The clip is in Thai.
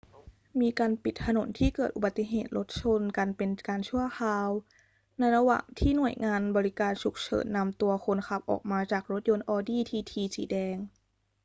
มีการปิดถนนที่เกิดอุบัติเหตุรถชนกันเป็นการชั่วคราว ในระหว่างที่หน่วยงานบริการฉุกเฉินนำตัวคนขับออกมาจากรถยนต์ audi tt สีแดง